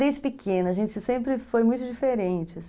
Desde pequena, a gente sempre foi muito diferente.